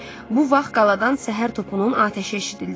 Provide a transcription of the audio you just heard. Bu vaxt qaladan səhər topunun atəşi eşidildi.